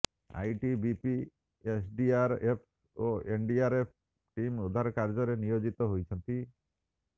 ITBP SDRF ଓ NDRF team ଉଦ୍ଧାର କାର୍ଯ୍ୟରେ ନିୟୋଜିତ ହୋଇଛନ୍ତି